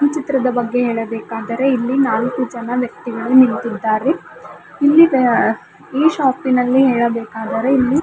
ಚಿತ್ರದ ಬಗ್ಗೆ ಹೇಳಬೇಕಾದರೆ ಇಲ್ಲಿ ನಾಲ್ಕು ಜನ ವ್ಯಕ್ತಿಗಳು ನಿಂತಿದ್ದಾರೆ ಇಲ್ಲಿ ಆ ಈ ಶಾಪಿನಲ್ಲಿ ಹೇಳಬೇಕಾದರೆ ಇಲ್ಲಿ--